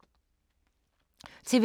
TV 2